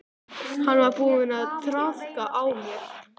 Hann var búinn að traðka á mér.